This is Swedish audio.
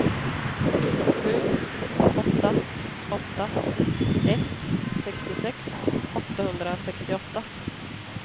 sju åtta åtta ett sextiosex åttahundrasextioåtta